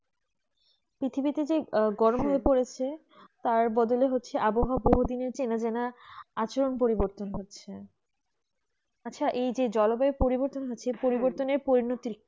পৃথিবীতে যে গরম হয়ে পড়েছে তার বদলে হচ্ছে আবহাওয়া কোনো দিনই চেনা যানা আচমকা পরিবর্তন হচ্ছে